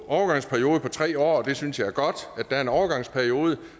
tre år jeg synes det er godt at der er en overgangsperiode